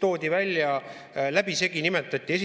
Toodi välja, läbisegi nimetati,